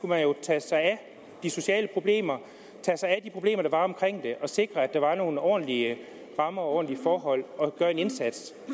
man jo tage sig af de sociale problemer tage sig af de problemer der var omkring det og sikre at der var nogle ordentlige rammer og forhold og gøre en indsats